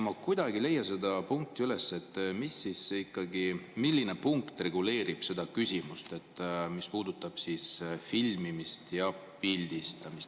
Ma kuidagi ei leia seda punkti üles, mis reguleerib seda küsimust, mis puudutab filmimist ja pildistamist.